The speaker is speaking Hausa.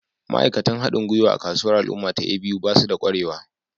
Ma'aikatan haɗin gwiwa a kasuwar al'umma ta A.B.U ba su da ƙwarewa